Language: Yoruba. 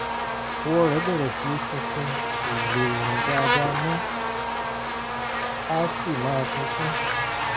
àwọ̀ rẹ̀ bẹ̀rẹ̀ sí í funfun kò lè rìn dáadáa mọ́ á sì máa sunkún